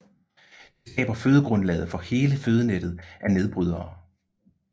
Det skaber fødegrundlaget for hele fødenettet af nedbrydere